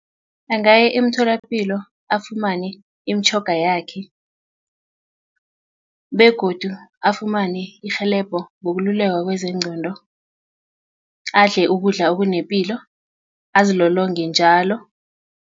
Angaya emtholapilo afumane imitjhoga yakhe begodu afumane irhelebho ngokululeko kwezengqondo adle ukudla okunepilo azilolonge njalo.